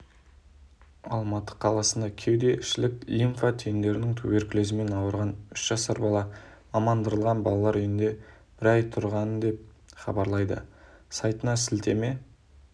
алматы қаласында кеуде ішілік лимфа түйіндерінің туберкулезімен ауырған үш жасар бала мамандандырылған балалар үйінде бір ай тұрған деп хабарлайды сайтына сілтеме